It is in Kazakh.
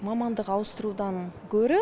мамандық ауыстырудан гөрі